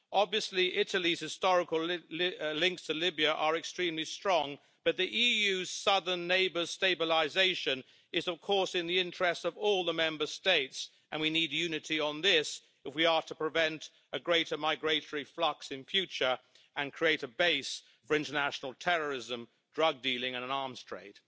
Obviously, Italy's historical links to Libya are extremely strong, but the EU's southern neighbour's stabilisation is, of course, in the interests of all the Member States, and we need unity on this if we are to prevent a greater migratory flux in future and the creation of a base for international terrorism, drug dealing and an arms trade.